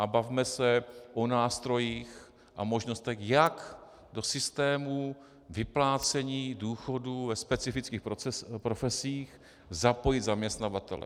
A bavme se o nástrojích a možnostech, jak do systémů vyplácení důchodů ve specifických profesích zapojit zaměstnavatele.